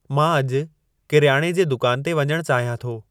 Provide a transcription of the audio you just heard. मां अॼु किरियाणे जे दुकान ते वञणु चाहियां थो/थी